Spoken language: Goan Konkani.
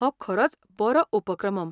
हो खरोच बरो उपक्रमम!